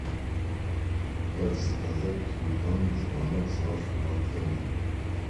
как заказать телефонный звонок с вашего отеля